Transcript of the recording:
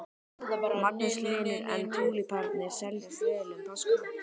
Magnús Hlynur: En túlípanarnir seljast vel um páskana?